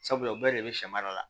Sabula u bɛɛ de bɛ sɛma dɔ la